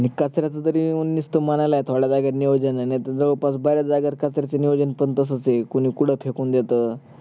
अणीकचऱ्याच जरी नुस्त म्हणायला आहे थोड नियोजन आहे नाही त जवळपास बऱ्याच जागेवर कचऱ्याच नियोजन पण तसच आहे कोणी कुठ फेकून देत